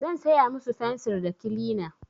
Zan saya musu fensir da kilina.